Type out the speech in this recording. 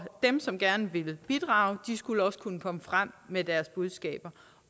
som gerne ville bidrage skulle også kunne komme frem med deres budskaber